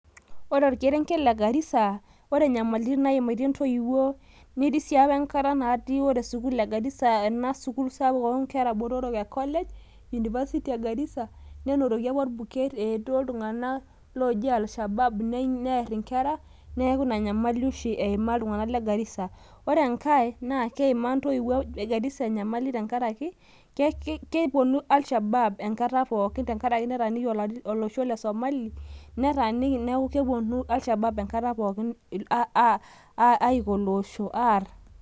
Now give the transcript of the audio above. ore orkerenket le garisa, ore nyamalitin naimatie intoiwuo, netii sii apa enkata natiiore sukuul e garisa, ena sukuul sapuk oonkera e college[cs university e garissa. nenotoki apa orbuket eetuo iltunganak looji alshbaab neer inkera, neku ina nyamali oshi eimaa iltunganak le garissa. ore enkae naa keima intoiwuo e garissa enyamali, tenkaraki kepuonu alshabaab enkata pookin, tenkaraki netaaniki olosho le somali, netaaniki neeku kepuonu alshabaab enkata pookin aar ilosho.